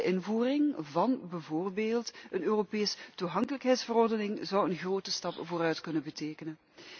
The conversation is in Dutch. De invoering van bijvoorbeeld een Europese toegankelijkheidsverordening zou een grote stap vooruit kunnen betekenen.